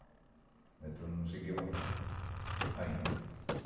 O metrô não seguia para frente, ainda.